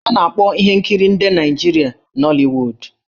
A na-akpọ ihe nkiri ndị Naịjirịa 'Nollywood'.